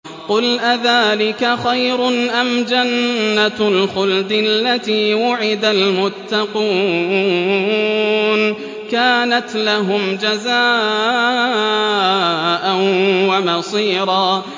قُلْ أَذَٰلِكَ خَيْرٌ أَمْ جَنَّةُ الْخُلْدِ الَّتِي وُعِدَ الْمُتَّقُونَ ۚ كَانَتْ لَهُمْ جَزَاءً وَمَصِيرًا